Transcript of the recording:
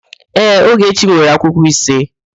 Ee, Ogechi nwere akwụkwọ ise.